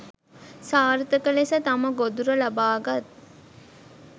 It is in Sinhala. සාර්ථක ලෙස තම ගොදුර ලබා ගත්